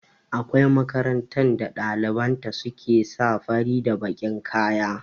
Akwai makarantar da ɗaliban ta su ke sa fari da bakin kaya